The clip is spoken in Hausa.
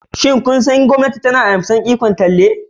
Shin kun san cewa gwamnati na karbe ikon talle?